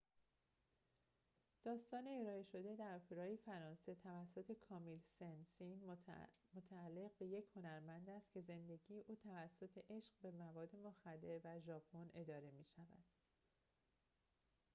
داستان ارائه شده در اپرای فرانسه توسط کامیل سن سین متعلق به یک هنرمند است که زندگی او توسط عشق به مواد مخدر و ژاپن اداره می شود